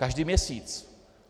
Každý měsíc.